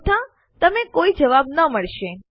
અન્યથા તમને કોઇ જવાબ ન મળશે